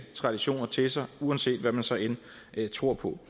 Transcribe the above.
traditioner til sig uanset hvad man så end tror på